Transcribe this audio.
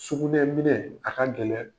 Sugunɛn minɛ a ka gɛlɛn.